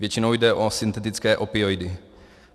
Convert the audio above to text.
Většinou jde o syntetické opioidy.